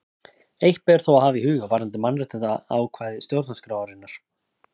Eitt ber þó að hafa í huga varðandi mannréttindaákvæði stjórnarskrárinnar.